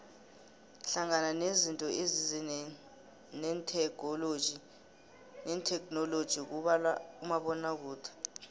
hlangana nezinto ezize netheknoloji kubalwa umabonakude